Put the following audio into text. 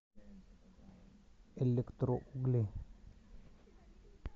электроугли